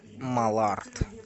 малард